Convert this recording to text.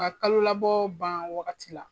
Ka kalo labɔ ban wagati la.